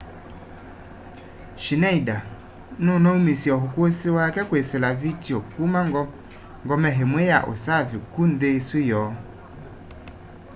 schneider nunaumisye ukusi wake kwisila vitio kuma ngome imwe ya usaf ku nthi isu yoo